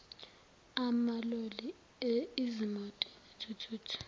amaloli izimoti izithuthuthu